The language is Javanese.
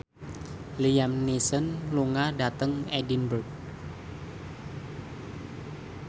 Liam Neeson lunga dhateng Edinburgh